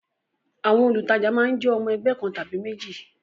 Àwọn olùtajà máa ń jẹ́ ọmọ ẹgbẹ́ kan tàbí méjì